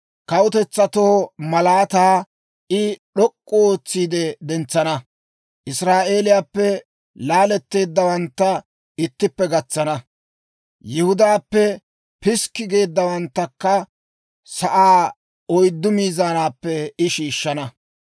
Kawutetsatoo malaataa I d'ok'k'u ootsiide dentsana; Israa'eeliyaappe laaletteeddawantta ittippe gatsana; Yihudaappe piskki geeddawanttakka sa'aa oyddu miizaanappe I shiishshana.